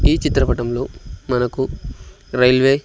ఈ చిత్రపటంలో మనకు రైల్వే--